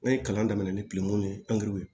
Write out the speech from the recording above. N'o ye kalan daminɛ ni ye ye